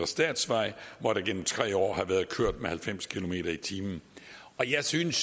statsvej hvor der igennem tre år har været kørt med halvfems kilometer per time jeg synes